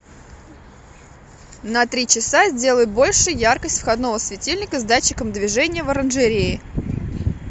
на три часа сделай больше яркость входного светильника с датчиком движения в оранжерее